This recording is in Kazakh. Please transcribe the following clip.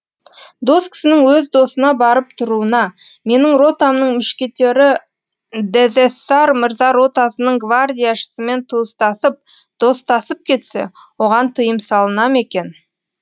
дос кісінің өз досына барып тұруына менің ротамның мушкетері дезэссар мырза ротасының гвардияшысымен туыстасып достасып кетсе оған тыйым салына ма екен